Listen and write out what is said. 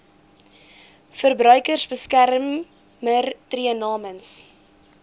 verbruikersbeskermer tree namens